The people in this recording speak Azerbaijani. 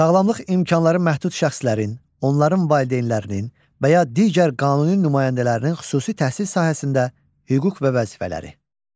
Sağlamlıq imkanları məhdud şəxslərin, onların valideynlərinin və ya digər qanuni nümayəndələrinin xüsusi təhsil sahəsində hüquq və vəzifələri.